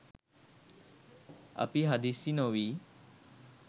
අපි හදිස්සි නොවී